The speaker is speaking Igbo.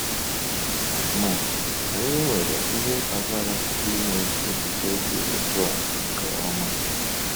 Ma, anyị nwere ihe kpatara ịnwe echiche dị otú a nke ọma? um